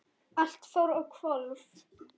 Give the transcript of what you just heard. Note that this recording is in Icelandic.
Allt fór á hvolf.